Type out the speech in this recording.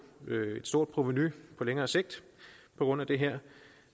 et stort provenu på længere sigt på grund af det her